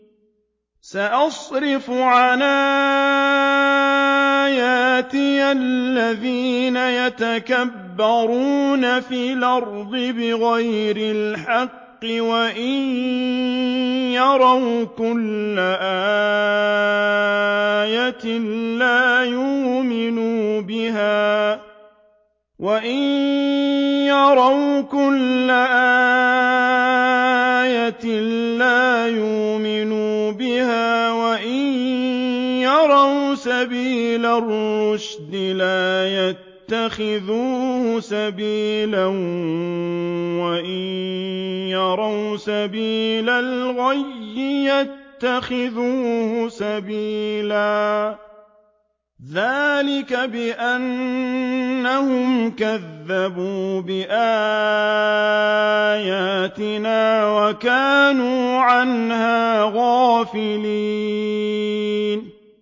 سَأَصْرِفُ عَنْ آيَاتِيَ الَّذِينَ يَتَكَبَّرُونَ فِي الْأَرْضِ بِغَيْرِ الْحَقِّ وَإِن يَرَوْا كُلَّ آيَةٍ لَّا يُؤْمِنُوا بِهَا وَإِن يَرَوْا سَبِيلَ الرُّشْدِ لَا يَتَّخِذُوهُ سَبِيلًا وَإِن يَرَوْا سَبِيلَ الْغَيِّ يَتَّخِذُوهُ سَبِيلًا ۚ ذَٰلِكَ بِأَنَّهُمْ كَذَّبُوا بِآيَاتِنَا وَكَانُوا عَنْهَا غَافِلِينَ